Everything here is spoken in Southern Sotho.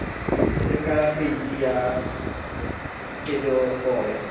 le ka peipi ya kenyomoya